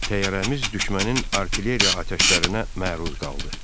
Təyyarəmiz düşmənin artilleriya atəşlərinə məruz qaldı.